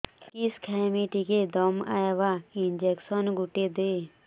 କିସ ଖାଇମି ଟିକେ ଦମ୍ଭ ଆଇବ ଇଞ୍ଜେକସନ ଗୁଟେ ଦେ